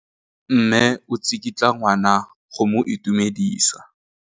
Mme o tsikitla ngwana go mo itumedisa.